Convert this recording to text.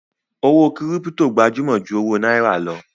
Owó kírípítò gbajúmọ̀ ju owó náírà lọ.